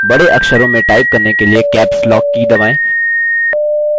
बड़े अक्षरों में type करने के लिए caps lock की दबाएँ